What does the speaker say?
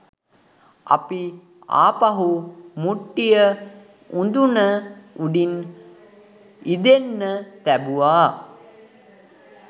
අපි ආපහු මුට්ටිය උඳුන උඩින් ඉදෙන්න තැබුවා